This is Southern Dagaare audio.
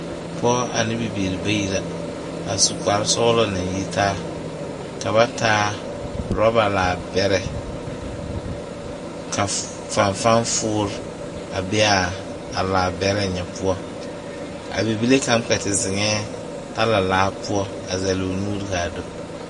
Pɔge ane bibiiri bayi la a su kparesɔglɔ naŋ yitaa ka ba taa orɔba laabɛrɛ ka fanfanfoore a be a laabɛrɛ ŋa poɔ a bibile kaŋ kpɛ te zeŋɛɛ talalaa poɔ a zɛle o nuuri k,a do.